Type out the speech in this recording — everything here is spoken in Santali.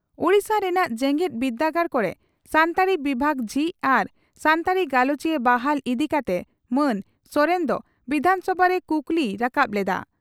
ᱳᱰᱤᱥᱟ ᱨᱮᱱᱟᱜ ᱡᱮᱜᱮᱛ ᱵᱤᱨᱰᱟᱹᱜᱟᱲ ᱠᱚᱨᱮ ᱥᱟᱱᱛᱟᱲᱤ ᱵᱤᱵᱷᱟᱜᱽ ᱡᱷᱤᱡ ᱟᱨ ᱥᱟᱱᱛᱟᱲᱤ ᱜᱟᱞᱚᱪᱤᱭᱟᱹ ᱵᱟᱦᱟᱞ ᱤᱫᱤ ᱠᱟᱛᱮ ᱢᱟᱱ ᱥᱚᱨᱮᱱ ᱫᱚ ᱵᱤᱫᱷᱟᱱᱥᱚᱵᱷᱟ ᱨᱮ ᱠᱩᱠᱞᱤᱭ ᱨᱟᱠᱟᱵ ᱞᱮᱫᱼᱟ ᱾